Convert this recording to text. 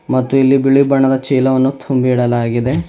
ಮತ್ತು ಇಲ್ಲಿ ಬಿಳಿ ಬಣ್ಣದ ಚೀಲವನ್ನು ತುಂಬಿ ಇಡಲಾಗಿದೆ.